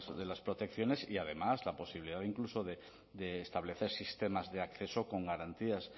de las protecciones y además la posibilidad incluso de establecer sistemas de acceso con garantías